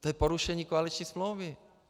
To je porušení koaliční smlouvy.